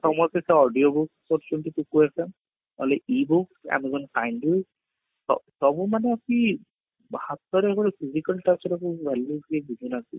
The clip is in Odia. ସମସ୍ତେ ସେ audio କୁ କରୁଛନ୍ତି only E book amazon candy ସବୁ ମାନେ କି ହାତ ରେ ଗୋଟେ physical touch ର value ବି ବୁଝୁ ନାହାନ୍ତି